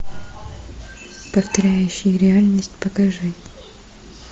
повторяющие реальность покажи